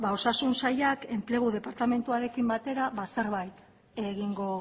osasun sailak enplegu departamenduarekin batera zerbait egingo